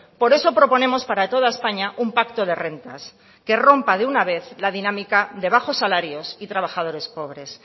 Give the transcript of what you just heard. por eso proponemos para toda españa un pacto de rentas que rompa de una vez la dinámica de bajos salarios y trabajadores pobres